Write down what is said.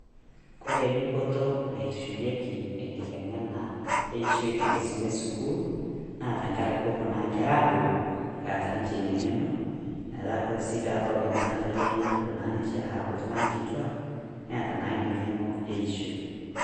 Kore dupoto naitushulieki enkiteng'ena eishoi tenkisuma esukuul, naa tang'araki kopoo naa nkerra abuulu eata ninche enia nge'eno. Meeta sii kore pee abau kenyaa nkaata enya nepoo naa ninchee aaku ltung'anak kitwaak neeta naa enia ng'eno eishoi.